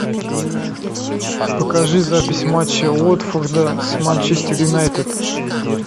покажи запись матча уотфорда с манчестер юнайтед